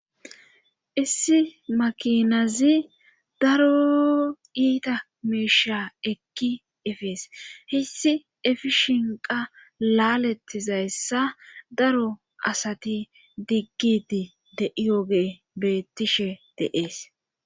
issi makinazi daro iita meisha ekki efees hissi efi shinqa laalettizayssa daro asati diggidi de7iyoge bettishe deees